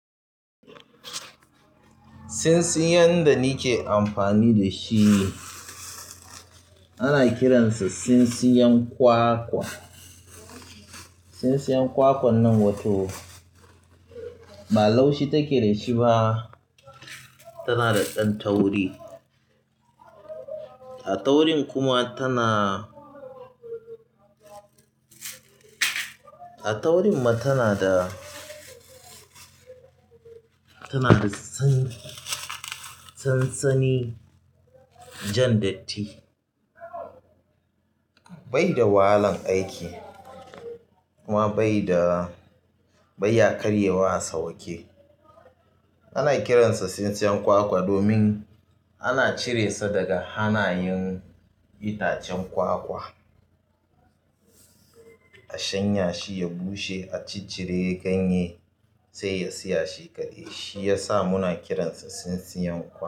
Sinsiyan da ni ke amfani da shi, ana kiransa sinsiyan kwakwa, sinsiyan kwakwan nan wato ba laushi take da shi ba, tana da ɗan tauri. A taurin kuma tana, a taurin ma tana da, tana da san san-sani jan datti, bai da wahalan aiki kuma bai da, bai ya ƙarewa a sawake, ana kiran sa tsinsiyan kwakwa domin ana cire sa daga hanayen itacen kwakwa, a shanya shi, ya bushe, a cicire ganye sai ya siya shi kaɗai. Shi ya sa muna kiransa sintsiyan kwa.